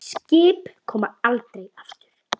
Skip koma aldrei aftur.